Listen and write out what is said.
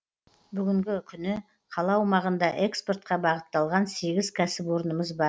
бүгінгі күні қала аумағында экспортқа бағытталған сегіз кәсіпорнымыз бар